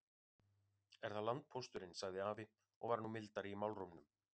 Er það landpósturinn, sagði afi og var nú mildari í málrómnum.